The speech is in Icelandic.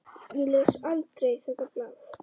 Ég les aldrei þetta blað.